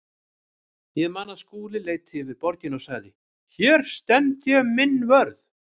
Ég man að Skúli leit yfir borgina og sagði: Hér stend ég minn vörð.